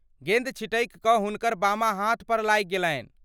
गेन्द छिटकि कऽ हुनकर बामा हाथपर लागि गेलनि।